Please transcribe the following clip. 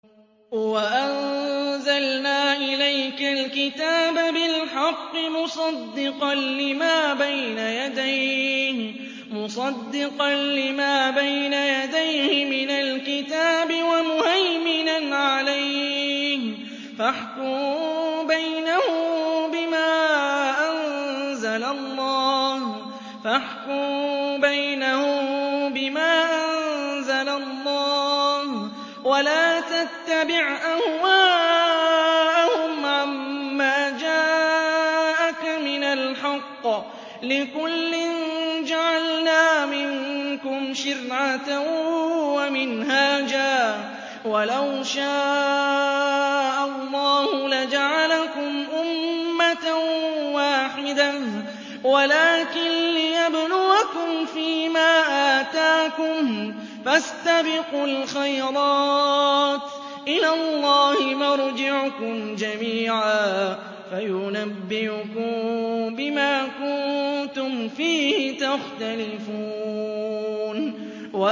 وَأَنزَلْنَا إِلَيْكَ الْكِتَابَ بِالْحَقِّ مُصَدِّقًا لِّمَا بَيْنَ يَدَيْهِ مِنَ الْكِتَابِ وَمُهَيْمِنًا عَلَيْهِ ۖ فَاحْكُم بَيْنَهُم بِمَا أَنزَلَ اللَّهُ ۖ وَلَا تَتَّبِعْ أَهْوَاءَهُمْ عَمَّا جَاءَكَ مِنَ الْحَقِّ ۚ لِكُلٍّ جَعَلْنَا مِنكُمْ شِرْعَةً وَمِنْهَاجًا ۚ وَلَوْ شَاءَ اللَّهُ لَجَعَلَكُمْ أُمَّةً وَاحِدَةً وَلَٰكِن لِّيَبْلُوَكُمْ فِي مَا آتَاكُمْ ۖ فَاسْتَبِقُوا الْخَيْرَاتِ ۚ إِلَى اللَّهِ مَرْجِعُكُمْ جَمِيعًا فَيُنَبِّئُكُم بِمَا كُنتُمْ فِيهِ تَخْتَلِفُونَ